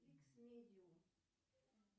икс медиум